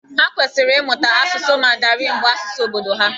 Ha kwesịrị ịmụta asụsụ Mandarinụ bụ́ asụsụ obodo ha.